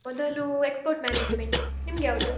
ಮೊದಲು export management , ನಿಮ್ಗ್ಯಾವ್ದು?